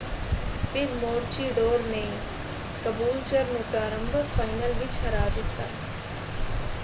ਫਿਰ ਮੋਰੂਚੀਡੋਰ ਨੇ ਕਬੂਲਚਰ ਨੂੰ ਪ੍ਰਾਰੰਭਕ ਫਾਈਨਲ ਵਿੱਚ ਹਰਾ ਦਿੱਤਾ।